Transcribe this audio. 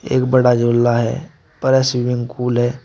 एक बड़ा झूला है बड़ा स्विमिंग पूल है।